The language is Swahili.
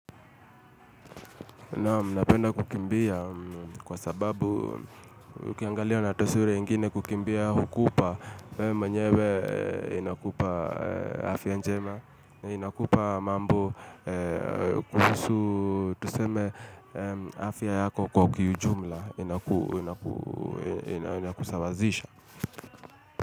Napenda kukimbia kwa sababu ukiangalia na taswira ingine kukimbia hukupa mwenyewe inakupa afya njema, inakupa mambo kuhusu tuseme afya yako kwa kiujumla inakusawazisha.